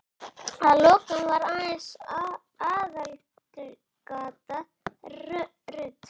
Að lokum var aðeins aðalgatan rudd.